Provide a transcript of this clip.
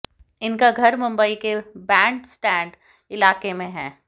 इनका घर मुंबई के बैंड स्टैंड इलाके में है